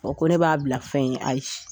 Ɔ ko ne b'a bila fɛn ye ayi